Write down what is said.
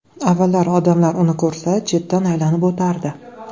Avvallari odamlar uni ko‘rsa chetdan aylanib o‘tardi.